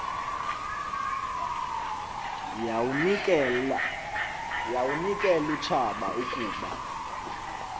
yawunikel utshaba ukuba